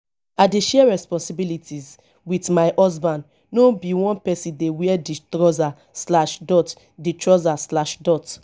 i dey share responsibilities wit my husband no be one pesin dey wear di trouser. di trouser.